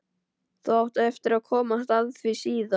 Þú átt eftir að komast að því síðar.